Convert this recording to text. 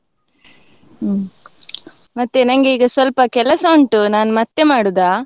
ಹ್ಮ್ ಮತ್ತೆ ನಂಗೆ ಈಗ ಸ್ವಲ್ಪ ಕೆಲಸ ಉಂಟು ಮತ್ತೆ ಮಾಡುದಾ?